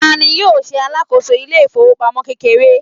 ta ni yíò ṣe alákòso ilé ifowopamọ kekere